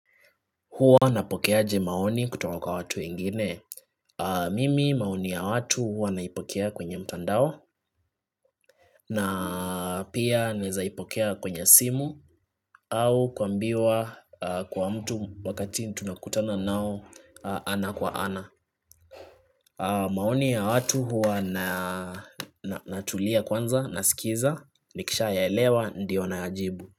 Huwa napokeaje maoni kutoka kwa watu wengine? Mimi maoni ya watu huwa naipokea kwenye mtandao na pia naezaipokea kwenye simu au kuambiwa kwa mtu wakati tunakutana nao ana kwa ana. Maoni ya watu huwa natulia kwanza, nasikiza, nikishayaelewa ndiyo nayajibu.